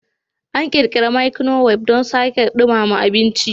An ƙirƙira microwave don sake dumama abinci.